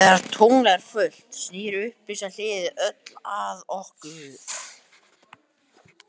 Þegar tungl er fullt snýr upplýsta hliðin öll að okkur.